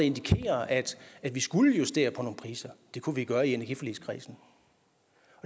indikerer at vi skulle justere på nogle priser det kunne vi gøre i energiforligskredsen